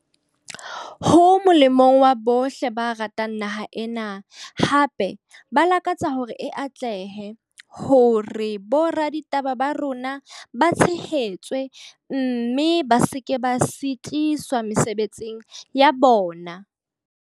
Ho molemong wa bohle ba ratang naha ena, hape ba lakatsa hore e atlehe, hore boraditaba ba rona ba tshehetswe, mme ba se ke ba sitiswa mosebetsing wa bona.